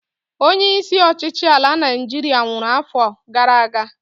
Onye isi ọchịchị ala Naịjiria nwụrụ afọ gara aga